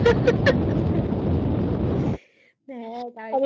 হ্যা তাই